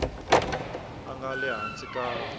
a nga le hansi ka